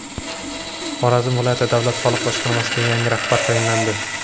Xorazm viloyati davlat soliq boshqarmasiga yangi rahbar tayinlandi.